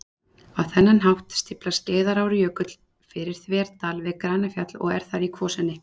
Á þennan hátt stíflar Skeiðarárjökull fyrir þverdal við Grænafjall og er þar í kvosinni